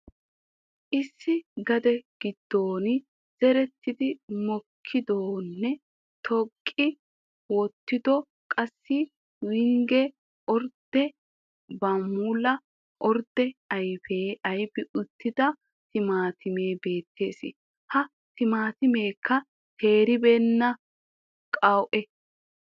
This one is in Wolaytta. Issi gade gido zeridi mokissidonne tuuqqi wottido qassi wings ordde bam'ula ordde ayffiya ayfi uttida timatimee beettees. Ha timatimmekka teeribeenna qawu'e.